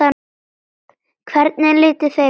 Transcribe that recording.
Hvernig litu þeir út?